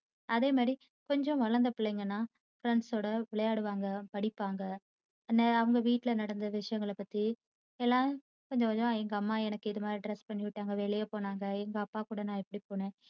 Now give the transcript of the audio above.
அதேமாதிரி கொஞ்சம் வளர்ந்த பிள்ளைங்கன்னா friends ஓட விளையாடுவாங்க படிப்பாங்க என்ன அவங்க வீட்டுல நடந்த விஷயங்களை பத்தி எல்லாம் கொஞ்சம் கொஞ்சமா எங்க அம்மா எனக்கு இது மாதிரி dress பண்ணி விட்டாங்க வெளிய போனாங்க எங்க அப்பா கூட நான் இப்படி போனேன்